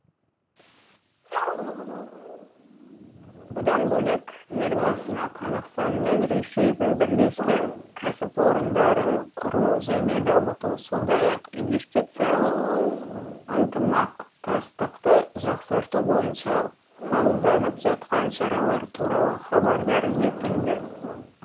бұдан бөлек елбасына қазақстан мен ресейдің бірлескен кәсіпорындарын құру және дамыту сондай ақ инвестициялық ынтымақтастықты жақсарту бойынша қабылданып жатқан шаралар туралы хабардар етілді